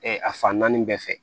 a fan naani bɛɛ fɛ